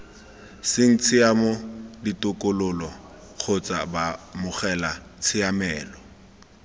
seng tshiamo ditokololo kgotsa baamogelatshiamelo